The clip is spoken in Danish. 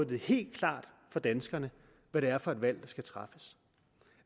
det helt klart for danskerne hvad det er for et valg der skal træffes